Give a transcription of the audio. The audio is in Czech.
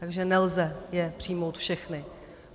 Takže nelze je přijmout všechny.